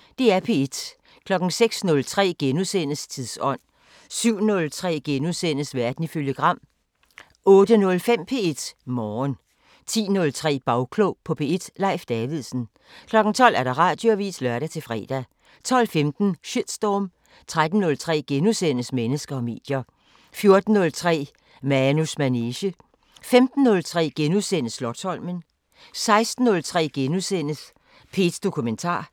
06:03: Tidsånd * 07:03: Verden ifølge Gram * 08:05: P1 Morgen 10:03: Bagklog på P1: Leif Davidsen 12:00: Radioavisen (lør-fre) 12:15: Shitstorm 13:03: Mennesker og medier * 14:03: Manus manege * 15:03: Slotsholmen * 16:03: P1 Dokumentar *